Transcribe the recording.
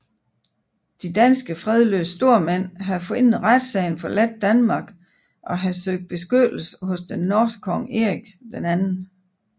De danske fredløse stormænd havde forinden retssagen forladt Danmark og havde søgte beskyttelse hos den norske konge Erik 2